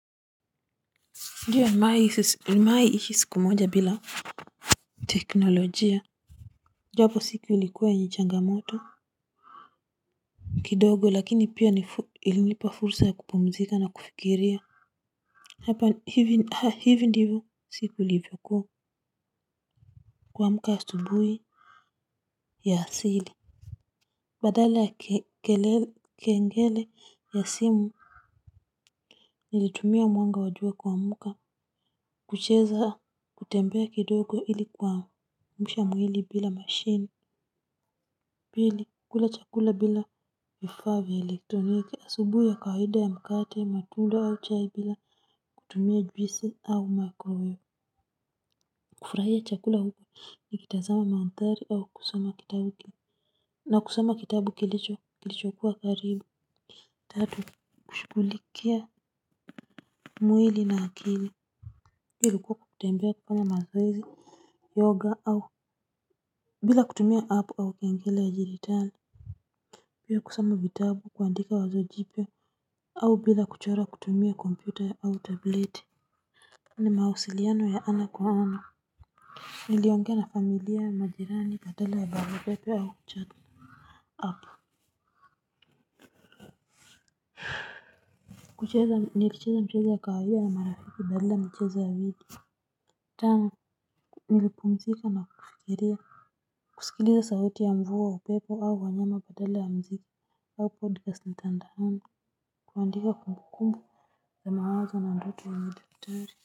Ndiyo nimewahi ishi siku moja bila teknolojia japo siki ilikuwa yenye changamoto. Kidogo lakini pia ilinipa fursa ya kupumzika na kufikiria hapa hivi ndivyo siku ilivyokuwa kuamka asubuhi ya asili badala ya kengele ya simu. Nilitumia mwanga wa jua kuamka kucheza kutembea kidogo ili kuamsha mwili bila mashine. Pili kula chakula bila vifaa vya elektroniki asubuhi ya kawaida ya mkate matunda au chai bila kutumia juisi au microwave kufurahia chakula huku nikitazama mandhari au kusoma kitabu na kusoma kitabu kilichokuwa karibu. Tatu kushughulikia mwili na akili hiyo ilikuwa kwa kutembea kufanya mazoezi yoga au bila kutumia app au kengele ya dijitali. Pia kusoma vitabu kuandika wazo jipya au bila kuchora kutumia kompyuta au tableti. Ni mawasiliano ya ana kwa ana. Niliongea na familia majirani badala ya barua pepe au chat app. Kucheza nilicheza mchezo wa kawaida na marafiki badala ya michezo ya video tano nilipumzika na kufikiria kusikiliza sauti ya mvua upepo au wanyama badala ya muziki hapo kuandika kumbukumbu za mawazo na ndoto ya udaktari.